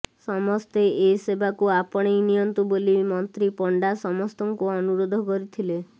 ସମସ୍ତେ ଏ ସେବାକୁ ଆପଣେଇ ନିଅନ୍ତୁ ବୋଲି ମନ୍ତ୍ରୀ ପଣ୍ଡା ସମସ୍ତଙ୍କୁ ଅନୁରୋଧ କରିଥିଲେ